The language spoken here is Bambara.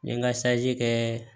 N ye n ka kɛ